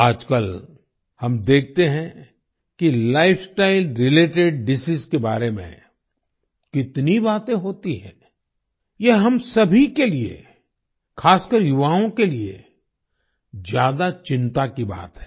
आजकल हम देखते हैं कि लाइफस्टाइल रिलेटेड डिसीज के बारे में कितनी बातें होती हैं यह हम सभी के लिए खासकर युवाओं के लिए ज्यादा चिंता की बात है